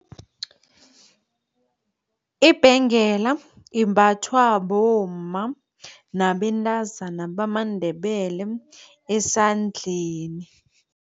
Ibhengela imbathwa bomma nabentazana bamaNdebele esandleni.